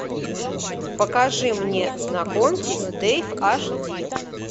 покажи мне знакомьтесь дэйв аш ди